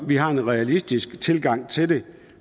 vi har en realistisk tilgang til det